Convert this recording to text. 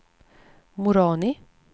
Moroni